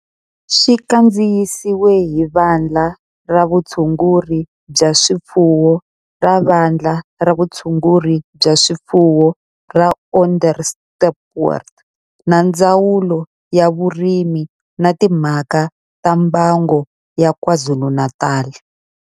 Xi kandziyisiwe hi Vandla ra Vutshunguri bya swifuwo ra Vandla ra Vutshunguri bya swifuwo ra Onderstepoort na Ndzawulo ya Vurimi na Timhaka ta Mbango ya KwaZulu-Natal.